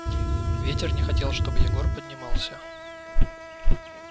ветер не хотел чтобы егор поднимался